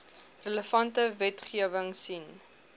relevante wetgewing sien